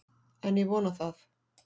En ég vona það.